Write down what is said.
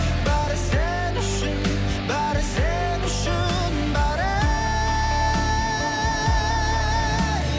бәрі сен үшін бәрі сен үшін бәрі ей